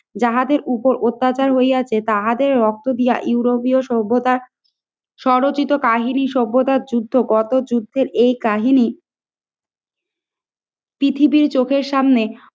যাহাদের উপর অত্যাচার হইয়াছে তাহাদের রক্ত দিয়া ইউরোপীয় সভ্যতা সরচিত কাহিনী সভ্যতার যুদ্ধে কত যুদ্ধের এই কাহিনী পৃথিবীর চোখের সামনে